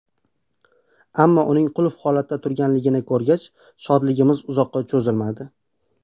Ammo uning qulf holatda turganligini ko‘rgach, shodligimiz uzoqqa cho‘zilmadi.